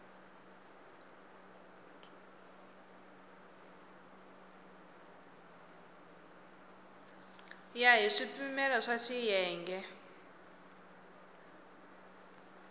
ya hi swipimelo swa xiyenge